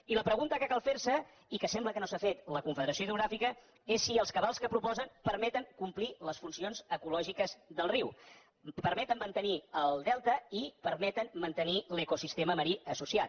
i la pregunta que cal fer se i que sembla que no s’ha fet la confederació hidrogràfica és si els cabals que proposen permeten complir les funcions ecològiques del riu permeten mantenir el delta i permeten mantenir l’ecosistema marí associat